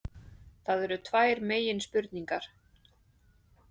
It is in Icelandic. Það eru tvær meginspurningar